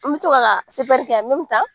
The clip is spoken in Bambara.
N bɛ to k'a ka CPR kɛ yan